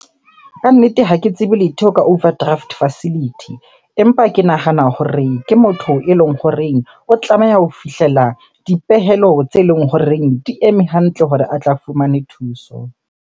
Kannete ha ke tsebe letho ka overdraft facility. Empa ke nahana hore ke motho eleng horeng o tlameha ho fihlela dipehelo tse leng horeng di eme hantle hore a tla fumane thuso.